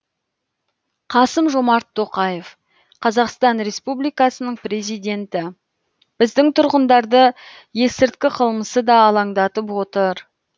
қасым жомарт тоқаев қазақстан республикасының президенті біздің тұрғындарды есірткі қылмысы да алаңдатып отыр